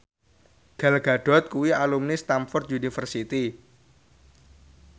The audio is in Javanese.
Gal Gadot kuwi alumni Stamford University